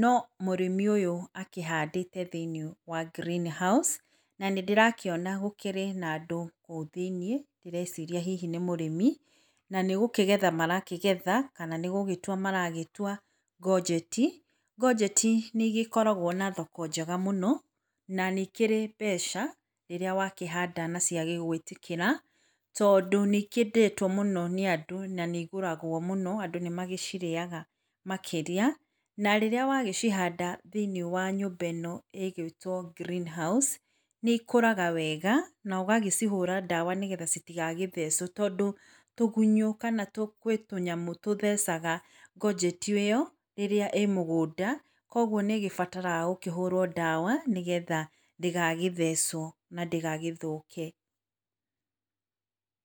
no mũrĩmi ũyũ akĩhandĩte thĩinĩ wa green house na nĩ ndĩrakĩona gũkĩrĩ na andũ kũu thĩinĩ ndĩreciria hihi nĩ mũrĩmi na nĩgũkĩgetha marakĩgetha kana nĩ gũgĩtua maragĩtua ngojeti. Ngojeti nĩ igĩkoragwo na thoko njega mũno na nĩ ikĩrĩ mbeca rĩrĩa wakĩhanda na cia gwĩtĩkĩra tondũ nĩ ikĩendetwo mũno nĩ andũ na nĩ igũragwo mũno, andũ nĩ magĩcirĩaga makĩria na rĩrĩa wagĩcihanda thĩinĩ wa nyũmba ĩno ĩgũitwo green house nĩ ikũraga wega nogacihũra ndawa nĩgetha citigagĩthecwo tondũ tũgũthũ kana gwĩ tũnyamũ tũthecaga ngojeti ĩyo rĩrĩa ĩ mũgũnda kwoguo nĩ ĩgĩbataraga gũkĩhũrwo ndawa nĩgetha ndĩgagĩthecwo na ndĩgagĩthũke.